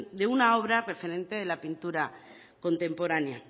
de una obra referente de la pintura contemporánea